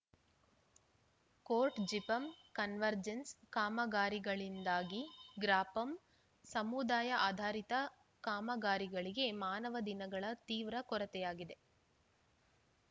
court ಜಿಪಂ convergence ಕಾಮಗಾರಿಗಳಿಂದಾಗಿ ಗ್ರಾಪಂ ಸಮುದಾಯ ಆಧಾರಿತ ಕಾಮಗಾರಿಗಳಿಗೆ ಮಾನವ ದಿನಗಳ ತೀವ್ರ ಕೊರತೆಯಾಗಿದೆ